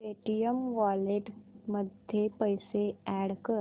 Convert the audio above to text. Paytm wallet मध्ये पैसे add कर